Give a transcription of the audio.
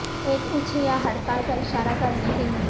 ایک اچھ یا ہڑتال کا اشارہ کرنے کے لئے